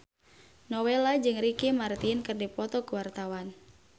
Nowela jeung Ricky Martin keur dipoto ku wartawan